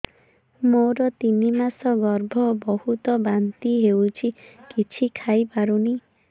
ମୋର ତିନି ମାସ ଗର୍ଭ ବହୁତ ବାନ୍ତି ହେଉଛି କିଛି ଖାଇ ପାରୁନି